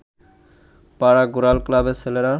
পাড়া ঘোরাল ক্লাবের ছেলেরা